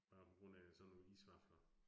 Bare på grund af sådan nogle isvafler